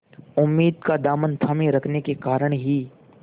उम्मीद का दामन थामे रखने के कारण ही